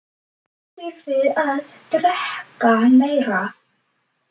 Þið þurfið að drekka meira.